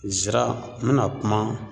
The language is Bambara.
Nzira n be na kuma